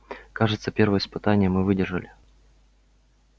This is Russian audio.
кажется первое испытание мы выдержали